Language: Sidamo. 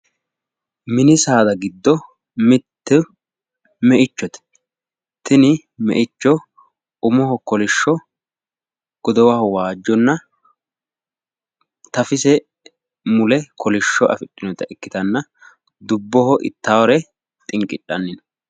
Mini saada giddo mittu meichote tini meicho umoho kolishsho godowaho waajjonna tafise mule kolishsho afidhunota ikkitanna dubboho ittaare xinqidhawore xinqidhanni no